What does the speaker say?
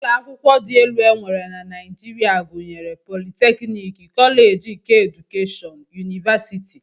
Ụlọakwụkwọ dị elu e nwere na Naijiria gụnyere politeknik, koleeji keedukeshọn, yunivasiti